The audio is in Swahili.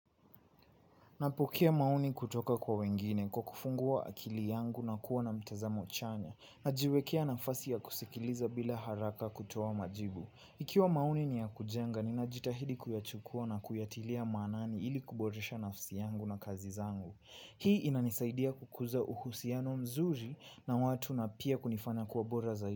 Napokea maoni kutoka kwa wengine kwa kufungua akili yangu na kuwa na mtazamo chanya. Najiwekea nafasi ya kusikiliza bila haraka kutoa majibu. Ikiwa maoni ni ya kujenga, ninajitahidi kuyachukua na kuyatilia maanani ili kuboresha nafsi yangu na kazi zangu. Hii inanisaidia kukuza uhusiano mzuri na watu na pia kunifanya kuwa bora zaidi.